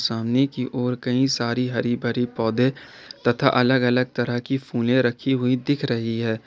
सामने की ओर कई सारी हरी भरी पौधे तथा अलग अलग तरह की फूले रखी हुई दिख रही है।